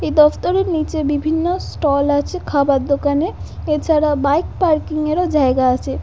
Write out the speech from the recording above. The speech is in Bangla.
এই দপ্তরের নিচে বিভিন্ন ষ্টল আছে খাবার দোকানে এছাড়া বাইক পার্কিং এর ও জায়গা আছে ।